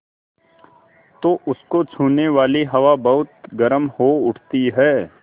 तो उसको छूने वाली हवा बहुत गर्म हो उठती है